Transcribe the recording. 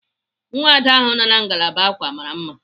Nwada ahu nọ na ngalaba ákwà mara mma.